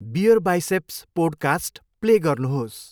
BeerBiceps podcast play गर्नुहोस्।